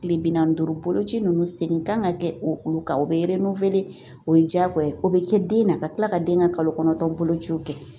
Kile bi naani ni duuru boloci nunnu segin kan ka kɛ o olu kan o bɛ o ye diyagoya ye o bɛ kɛ den na ka kila ka den ka kalo kɔnɔntɔn bolociw kɛ